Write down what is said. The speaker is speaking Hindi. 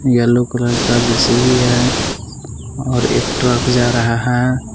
येल्लो कलर का जे_सी_बी है और एक ट्रक जा रहा है।